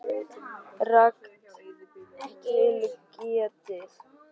Rangt til getið